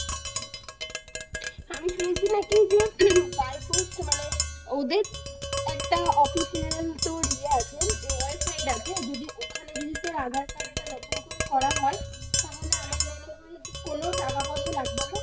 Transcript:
আমি শুনছি নাকি যে by post মানে ওদের একটা official তোর ইয়ে আছে website আছে, ওখানে যদি তোর aadhaar card নতুন করে করা হয় তাহলে আমার মনে হয় যে কোন টাকা পয়সা লাগবে না।